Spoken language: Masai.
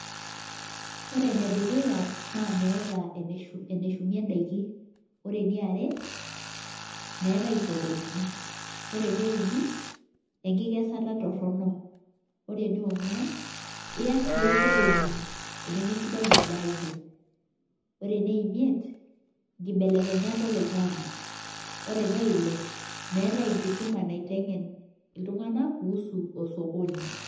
Ore ene dukuya naa meeta eneshumie daiki. ore eniare, meetae isokonini. ore ene uni enkikesata torono. ore eneinguan.,enemesidai edaa ino. ore ene imiet nkibelekenyat oloingang'e. ore ene Ile, meetae enkisuma naitengen iltunganak kuusu osokoni.